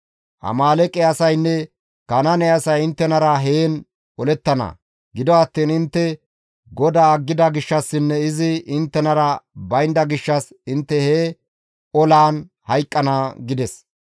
Amaaleeqe asaynne Kanaane asay inttenara heen olettana; gido attiin intte GODAA aggida gishshassinne izi inttenara baynda gishshas intte he olaan hayqqana» gides.